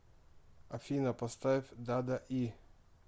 афина поставь дада и